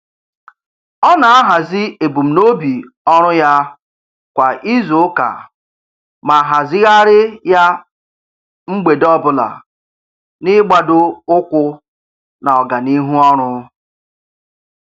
Ọ na-ahazị ebumnobi ọrụ ya kwa izuụka ma hazịghari ya mgbede ọbụla n'igbadoụkwụ na ọganihu ọrụ.